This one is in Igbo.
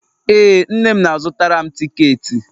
ee, nne m na-azutara m tiketi